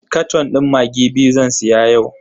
Katon din maggi biyu zan siya yau.